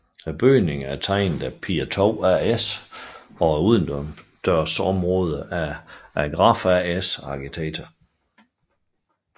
Bygningen er tegnet af Pir II AS og udendørsområderne af Agraff AS arkitekter